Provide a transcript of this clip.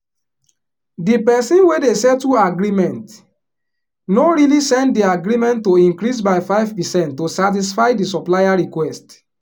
di person wey dey settle agreement no really send di agreement to increase by 5 percent to satisfy di supplier request